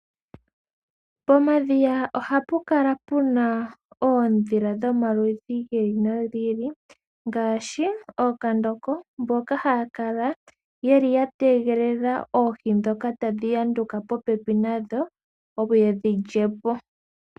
Pomadhiya ohapu kala puna oondhila dhomaludhi gi ili nogi ili ngaashi ookandoko mboka haya kala yeli ya tegelela oohi ndhoka tadhi yanduka popepi nayo yedhi lyepo.